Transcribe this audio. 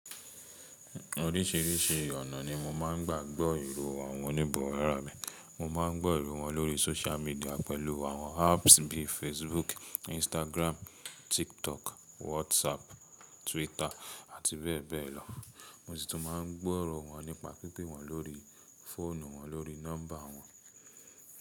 Oríṣìíríṣìí ọ̀nà ni mo máa ń gbà gbọ́ ìró àwọn oníbará mi. Mo má ń gbọ́ ìró wọn lórí sócial medià pẹ̀lú àwọn apps bí i Facebook, Instagram, TikTok, WhatsApp, Twitter àti bẹ́ẹ̀ bẹ́ẹ̀ lọ. Mo sì tún máa ń gbọ́ ìró wọn nípa pípè wọ́n lórí fóònù wọn lórí nọ́mbà wọn.